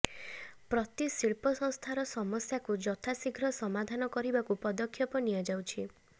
ପ୍ରତି ଶିଳ୍ପସଂସ୍ଥାର ସମସ୍ୟାକୁ ଯଥାଶୀଘ୍ର ସମାଧାନ କରିବାକୁ ପଦକ୍ଷେପ ନିଆଯାଉଛି